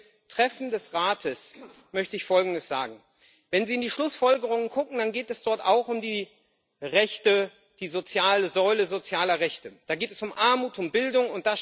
Aber zu dem Treffen des Rates möchte ich Folgendes sagen Wenn Sie in die Schlussfolgerungen gucken, dann geht es dort auch um die Säule sozialer Rechte, da geht es um Armut, um Bildung.